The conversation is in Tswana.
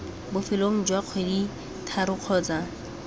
bofelong jwa kgwedi tharo kgotsa